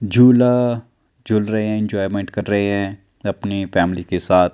झूला झूल रहे हैं एंजॉयमेंट कर रहे हैं अपनी फैमिली के साथ।